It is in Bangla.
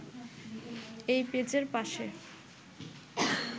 এই পেজের পাশে